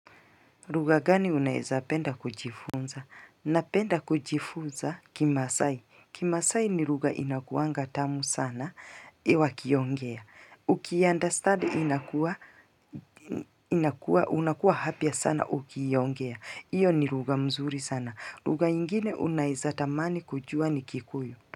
Lugha gani uneza penda kujifunza? Napenda kujifunza kimasai. Kimasai ni lugha inakuanga tamu sana wakiongea. Uki understand unakuwa happy sana ukiongea. Iyo ni ruga mzuri sana. Lugha ingine unaeza tamani kujua ni kikuyu.